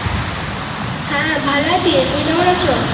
হ্যাঁ ভালো আছি তুমি কেমন আছো